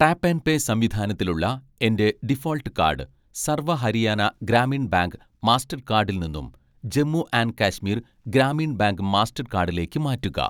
tap and pay സംവിധാനത്തിലുള്ള എൻ്റെ default card Sarva Haryana Gramin bank മാസ്റ്റർകാഡിൽ നിന്നും ജമ്മു ആൻഡ് കാശ്മീർ ഗ്രാമീൺ ബാങ്ക് മാസ്റ്റർകാഡിലേക്ക്‌ മാറ്റുക